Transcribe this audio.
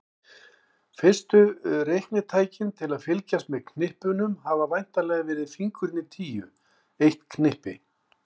Fyrstu reiknitækin til að fylgjast með knippunum hafa væntanlega verið fingurnir tíu, eitt knippi.